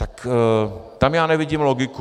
Tak tam já nevidím logiku.